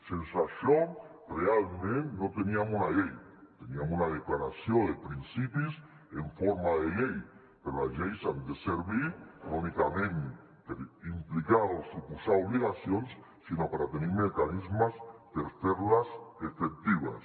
sense això realment no teníem una llei teníem una declaració de principis en forma de llei però les lleis han de servir no únicament per implicar o suposar obligacions sinó per a tenir mecanismes per ferles efectives